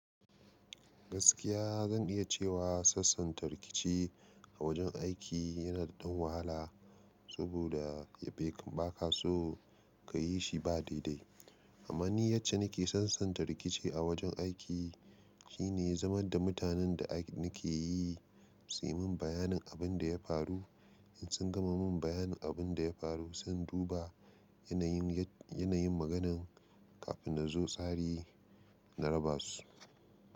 Gaskiya zan iya cewa sassanta rikici a wajen aiki yana da wahala, saboda ba ka so ka yi shi ba daidai. Amma ni yacce nake sassanta rikici a wajen aiki shine zaman da mutanen da nake yi su yi min bayanin abin da ya faru. In sun gama min bayanin abin da ya faru, zan duba yanayin maganan kafin na zo tsari na raba su.